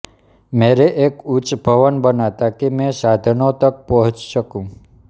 मेरे एक उच्च भवन बना ताकि मैं साधनों तक पहुँच सकूँ